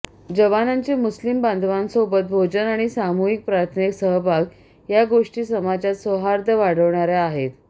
जवानांचे मुस्लिम बांधवांसोबत भोजन आणि सामूहिक प्रार्थनेत सहभाग या गोष्टी समाजात सौहार्द वाढवणाऱ्या आहेत